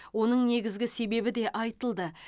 оның негізгі себебі де айтылды